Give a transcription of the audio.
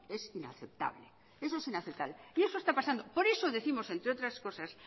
inaceptable y eso está pasando por eso décimos entre otras cosas